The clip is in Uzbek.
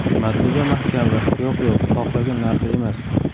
Matluba Mahkamova: Yo‘q, yo‘q, xohlagan narxi emas.